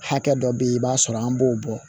Hakɛ dɔ bɛ yen i b'a sɔrɔ an b'o bɔ